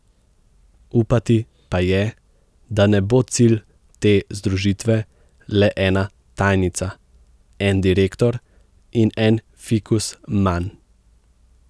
Upati pa je, da ne bo cilj te združitve le ena tajnica, en direktor in en fikus manj.